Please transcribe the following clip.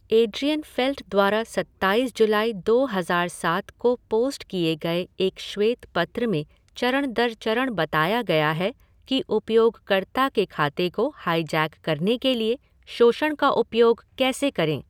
Adrienne Felt द्वारा सत्ताईस जुलाई दो हज़ार सात को पोस्ट किए गए एक श्वेत पत्र में चरण दर चरण बताया गया है कि उपयोगकर्ता के खाते को हाईजैक करने के लिए शोषण का उपयोग कैसे करें।